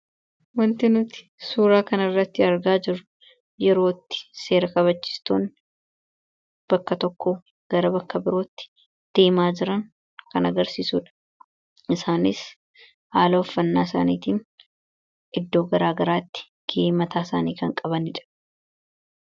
Wanti nuti suuraa kana irratti argaa jirru yeroo itti seera kabachiistonni bakka tokkoo gara bakka birootti deemaa jiran kan agarsiisuudha. Isaanis haala uffannaa isaaniitiin iddoo garaa garaatti gahee mataa isaanii kan qabaniidha.